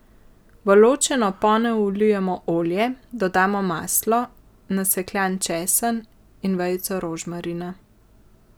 V ločeno ponev vlijemo olje, dodamo maslo, nasekljan česen in vejico rožmarina.